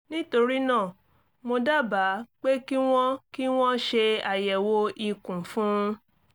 nítorí náà mo dábàá pé kí wọ́n kí wọ́n ṣe àyẹ̀wò ikùn fún un